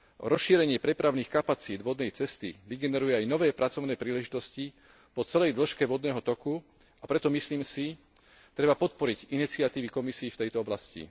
Rozšírenie prepravných kapacít vodnej cesty vygeneruje aj nové pracovné príležitosti po celej dĺžke vodného toku, a preto, myslím si, treba podporiť iniciatívy Komisie v tejto oblasti.